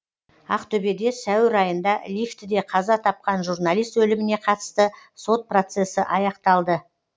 ақтөбеде сәуір айында лифтіде қаза тапқан журналист өліміне қатысты сот процесі аяқталды